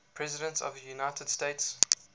presidents of the united states